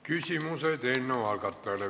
Küsimused eelnõu algatajale.